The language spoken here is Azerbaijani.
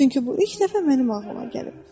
Çünki bu ilk dəfə mənim ağlıma gəlib.